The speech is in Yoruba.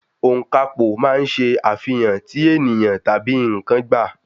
Ọ̀ǹkàpò máa ń ṣe àfihàn tí ènìyàn tabi n̄ǹkan gba.